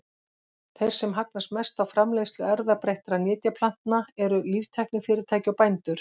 Þeir sem hagnast mest á framleiðslu erfðabreyttra nytjaplantna eru líftæknifyrirtæki og bændur.